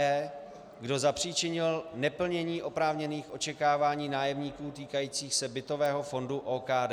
e) kdo zapříčinil neplnění oprávněných očekávání nájemníků týkajících se bytového fondu OKD.